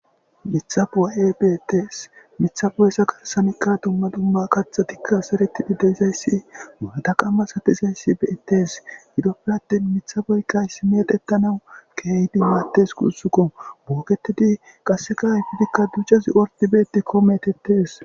Mitha bo7aye beettees mitha bo7esa garsanikka dumma dumma katha tikka sereti bideyizayssi maada qamma satizayssi beettes gidoppirattin mitha boykkay si meetetanau keehidi maattes gussukko booketidi qasseka ayfidikka ducazi orti beetikkomeetettes.